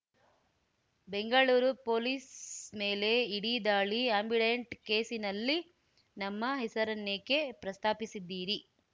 Bengaluru police ಮೇಲೆ ED ದಾಳಿ ಆ್ಯಂಬಿಡೆಂಟ್‌ ಕೇಸಿನಲ್ಲಿ ನಮ್ಮ ಹೆಸರೆನ್ನೇಕೆ ಪ್ರಸ್ತಾಪಿಸಿದ್ದೀರಿ